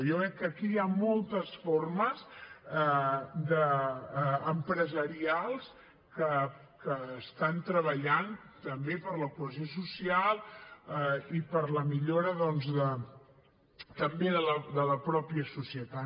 jo veig que aquí hi han moltes formes empresarials que estan treballant també per la cohesió social i per la millora doncs també de la mateixa societat